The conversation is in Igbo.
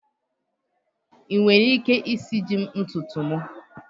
Ị nwere ike isiji m ntutu m?